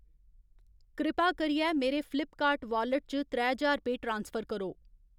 कृपा करियै मेरे फ्लिपकार्ट वालेट च त्रै ज्हार रपेऽ ट्रांसफर करो।